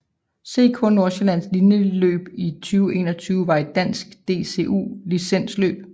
CK Nordsjælland Linjeløb 2021 var et dansk DCU licensløb